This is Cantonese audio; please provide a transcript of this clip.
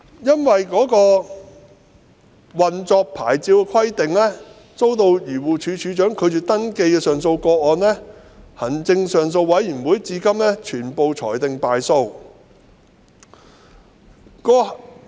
因不符合運作牌照的規定而遭漁護署署長拒絕登記的上訴個案，至今被行政上訴委員會全部裁定敗訴。